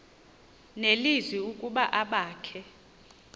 nelizwi ukuba abakhe